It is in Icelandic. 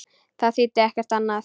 Það þýddi ekkert annað.